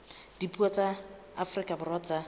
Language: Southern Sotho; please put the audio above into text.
dipuo tsa afrika borwa tsa